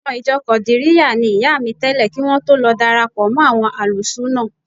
Ọmọ ìjọ Kọ̀dìríyà ni ìyá mi tẹ́lẹ̀ kí wọ́n tó lọ darapọ̀ mọ́ àwọn Álùsúúnà